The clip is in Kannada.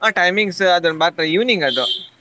ಆ timings ಅದು ಮಾತ್ರ evenings ಅದು.